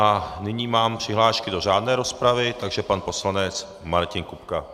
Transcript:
A nyní mám přihlášky do řádné rozpravy, takže pan poslanec Martin Kupka.